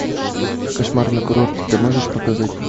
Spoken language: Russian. кошмар на курорте ты можешь показать